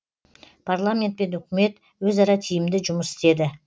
парламент пен үкімет өзара тиімді жұмыс істеді